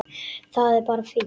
Það er bara fínt.